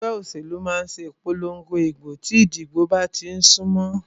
Ẹgbẹ́ òṣèlú máà ṣe ìpòlongo ìbò tí ìdìbò bá tí ń sún mọlé.